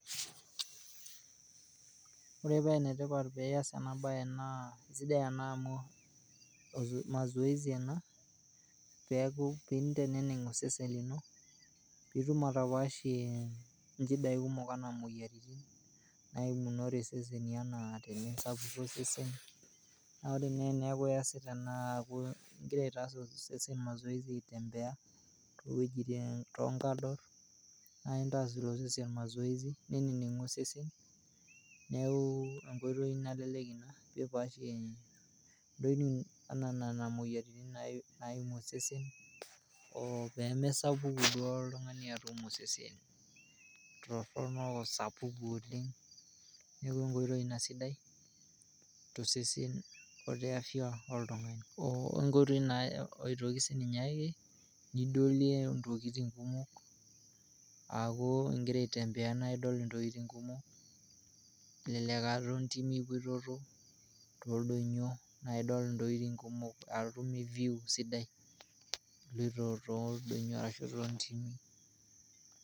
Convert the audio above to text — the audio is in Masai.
Ore paa enetipat peeas ena baye naa esidai amu mazoezi ana peaku piinteneng' osesen lino piitum atapaashie inchidaii kumok anaa imoyiarritin naimunore sesini anaa tenesapuku esesen, naa ore ene eneaku iasita naaku aitaas osesen mazoezi aitembea wejitin too nkador naa intaas ilo sesen mazoezi neneneng'u osesen neaku enkoitoi nalelek ina peepaashie ntokitin enaa nena moyiarritin naimu osesen oo pemesapuku duoo oltungani atum osesen torrono osapuku oleng, neaku enkoitoi ina sidai too seseni o te afya oltungani, onkoitoi naa sii aitoki ninye ake nidolie ntokitin kumok aaku igira aitembeana idol ntokitin kumok elelek aa too ntimi ipototo too ldonyio naa idol ntokitin aaku itum eview sidai iloto too ldonyio arashu too intimi.